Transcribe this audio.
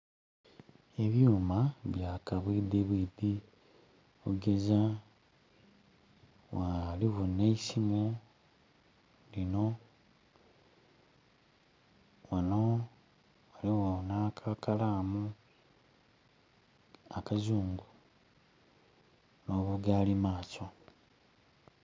Ebyuma bwa kabwidhi bwidhi okugeza ghaligho ne'isimu lino ghaligho na kakalamu akazungu no bugalimaso.